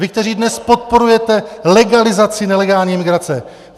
Vy, kteří dnes podporujete legalizaci nelegální migrace!